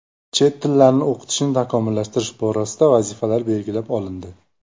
Chet tillarni o‘qitishni takomillashtirish borasidagi vazifalar belgilab olindi.